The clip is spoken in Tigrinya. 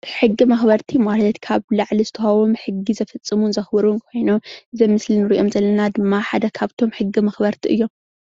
ሕጊ መኽበርቲ ማለት ካብ ላዕሊ ዝተውሃቦም ሕጊ ዘፈፅሙን ዘኽብሩን ኾይኖም እዚ ኣብ ምስሊ እንሪኦ ዘለና ድማ ሓደ ኻፍቶም ሕጊ መኽበርቲ እዮም።